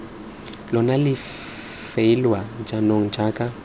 lona le faeliwa jaanong jaaka